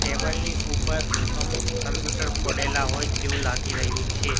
Table ની ઉપર અમુક કમ્પ્યૂટર પડેલા હોય તેવુ લાગી રહ્યુ છે.